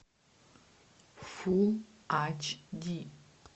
фул ач ди